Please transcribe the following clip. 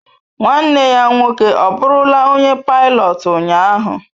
nwanne ya nwoke ọbụrụla onye pilọt ụnyaahụ?